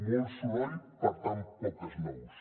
molt soroll per tant poques nous